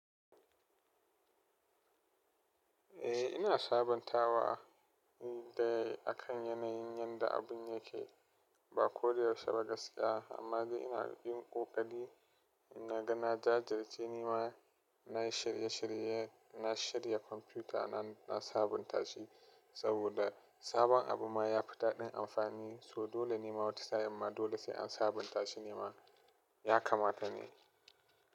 Eh ina sabuntawa dai akan yanayin yadda abun yake, ba ko da yaushe ba gaskiya amma dai ina bakin ƙoƙaari naga na jajirce nima, nayi shirye shirye na shirya kwamfuta na, na sabunta shi. Saboda sabon abu ma ya fi daɗin amfani, so dole ne ma wata sa'in sai an dole sai an sabunta shi ne ma ya kamata ne.